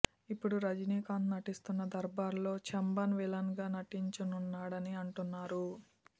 ఇప్పుడు రజనీకాంత్ నటిస్తున్న దర్బార్ లో చెంబన్ విలన్ గా నటించనున్నాడని అంటున్నారు